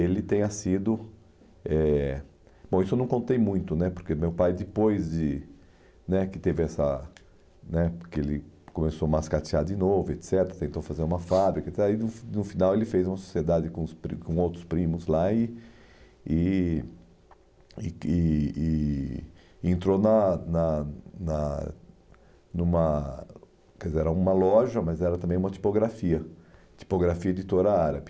ele tenha sido... eh, Bom, isso eu não contei muito né, porque meu pai, depois de né que teve essa né que ele começou a mascatear de novo, et cetera, tentou fazer uma fábrica, aí no fi no final ele fez uma sociedade com os pri com outros primos lá e e e e e e entrou na na na numa quer dizer era uma loja, mas era também uma tipografia, tipografia editora árabe.